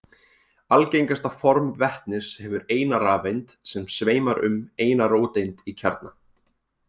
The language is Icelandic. Algengasta form vetnis hefur eina rafeind sem sveimar um eina róteind í kjarna.